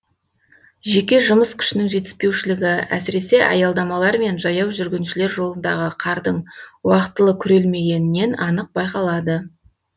жеке жұмыс күшінің жетіспеушілігі әсіресе аялдамалар мен жаяу жүргіншілер жолындағы қардың уақытылы күрелмегенінен анық байқалады